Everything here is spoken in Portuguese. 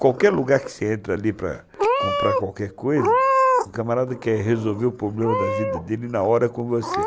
Qualquer lugar que você entra ali para comprar qualquer coisa, o camarada quer resolver o problema da vida dele na hora com você.